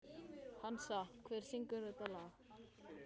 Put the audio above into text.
Hansa, hver syngur þetta lag?